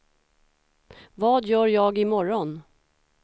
vad gör jag imorgon